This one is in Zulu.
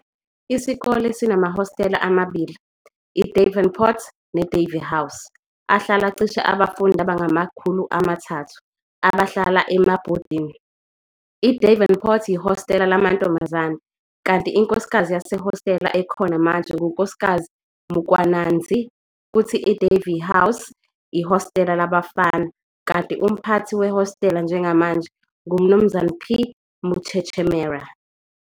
Isikole sinamahostela ama-2, iDavern Port neDavey House, ahlala cishe abafundi abangama-300 abahlala emabhodini. IDavern Port yihostela lamantombazane kanti inkosikazi yasehostela ekhona manje nguNkk Mukwananzi kuthi iDavey House ihostela labafana kanti umphathi wehostela njengamanje nguMnu P. Muchechemera.